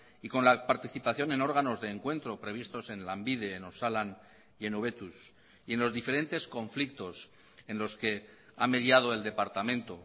y con la participación en órganos de encuentro previstos en lanbide en osalan y en hobetuz y en los diferentes conflictos en los que ha mediado el departamento